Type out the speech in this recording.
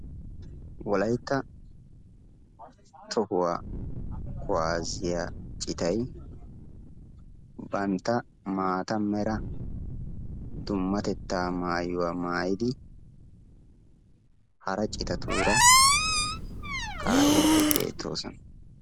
Wolaytta tohuwaa kuwaasiyaa citay bantta maata meera dummatettaa maayuwa maayidi hara citatuura ka'iidi beettoosona.